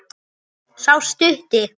Sá stutti.